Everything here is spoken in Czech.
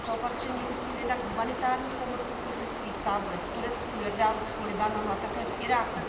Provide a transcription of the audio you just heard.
Těmito opatřeními myslím jednak humanitární pomoc v uprchlických táborech v Turecku, Jordánsku, Libanonu a také v Iráku.